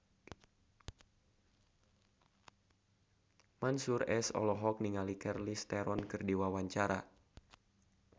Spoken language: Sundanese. Mansyur S olohok ningali Charlize Theron keur diwawancara